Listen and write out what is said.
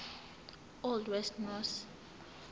old west norse